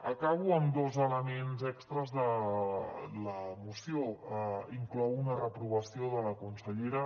acabo amb dos elements extres de la moció inclou una reprovació de la consellera